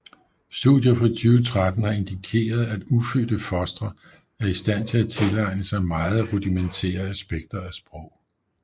Studier fra 2013 har indikeret at ufødte fostre er i stand til at tilegne sig meget rudimentære aspekter af sprog